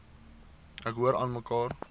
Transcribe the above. ek hoor aanmekaar